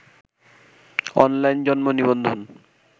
online জন্ম নিবন্ধন